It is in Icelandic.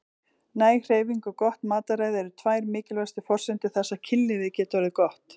Næg hreyfing og gott mataræði eru tvær mikilvægustu forsendur þess að kynlífið geti orðið gott.